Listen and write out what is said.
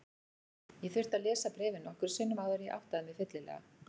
Ég þurfti að lesa bréfið nokkrum sinnum áður en ég áttaði mig fyllilega.